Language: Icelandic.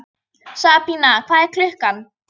Sabína, hvað er klukkan?